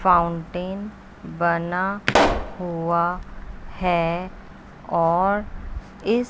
fountain बना हुआ है और इस--